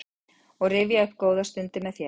og rifja upp góðar stundir með þér.